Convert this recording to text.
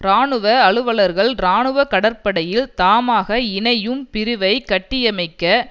இராணுவ அலுவர்கள் இராணுவ கடற்படையில் தாமாக இணையும் பிரிவை கட்டியமைக்க